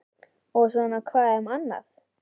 Og svona hvað um annað